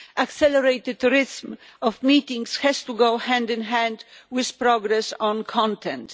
Accelerating the pace of meetings has to go hand in hand with progress on content.